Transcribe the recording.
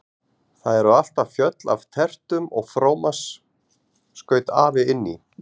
Það eru alltaf fjöll af tertum og frómas skaut afi inn í.